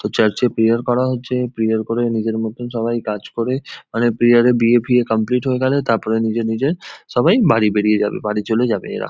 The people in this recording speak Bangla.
চার্চে প্রেয়ার করা হচ্ছে প্রেয়ার করে নিজের মতন সবাই কাজ করে মানে প্রেয়ার এর বিয়ে ফিয়ে কামপ্লিট হয়ে গেলে তারপরে নিজে নিজের সবাই বাড়ি বেরিয়ে যাবে বাড়ি চলে যাবে এরা।